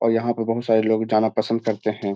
और यहाँ पर बहुत सारे लोग जाना पसंद करते हैं।